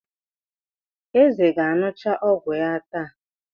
Eze ga-aṅụcha ọgwụ ya taa.